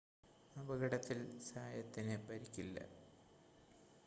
അപകടത്തിൽ സായത്തിന് പരിക്കില്ല